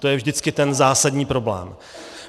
To je vždycky ten zásadní problém.